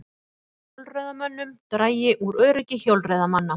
Fækki hjólreiðamönnum dragi úr öryggi hjólreiðamanna